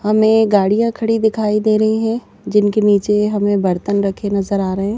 हमें गाड़ियाँ खड़ी दिखाई दे रही हैं जिनके नीचे हमें बर्तन रखे नजर आ रहे हैं।